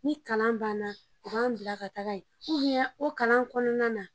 Ni kalan banna u ban bila ka taga yen o kalan kɔnɔna na